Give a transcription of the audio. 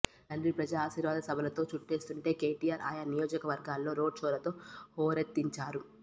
తండ్రి ప్రజాఆశీర్వాద సభలతో చుట్టేస్తుంటే కేటీఆర్ ఆయా నియోజకవర్గాల్లో రోడ్ షోలతో హోరెత్తించారు